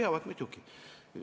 Jah, peavad muidugi.